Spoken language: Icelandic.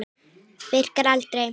Virkar aldrei.